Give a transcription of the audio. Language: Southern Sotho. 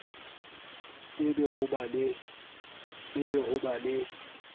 e be ho ba le